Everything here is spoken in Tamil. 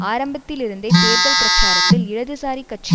ஆரம்பத்திலிருந்தே தேர்தல் பிரச்சாரத்தில் இடதுசாரிக் கட்சி